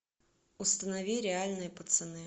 установи реальные пацаны